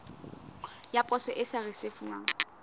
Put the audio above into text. ya poso e sa risefuwang